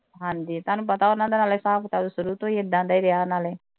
ਹਾਂ ਜੀ ਤੁਹਾਨੂੰ ਪਤਾ ਉਨ੍ਹਾਂ ਦੇ ਨਾਲੇ ਹਿਸਾਬ ਕਿਤਾਬ ਸ਼ੁਰੂ ਤੋਂ ਹੀ ਐਂਦਾ ਦਾ ਰਿਹਾ ਨਾਲੇ।